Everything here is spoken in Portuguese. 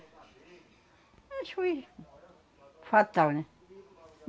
Acho que foi fatal, né?